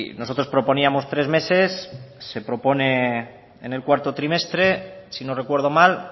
nosotros proponíamos tres meses se propone en el cuarto trimestre si no recuerdo mal